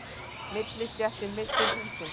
Millistéttin missir húsin